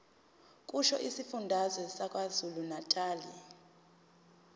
kusho isifundazwe sakwazulunatali